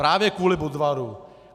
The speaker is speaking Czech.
Právě kvůli Budvaru.